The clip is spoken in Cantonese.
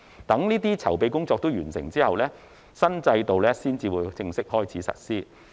待該等籌備工作均完成後，新制度方會正式開始實施。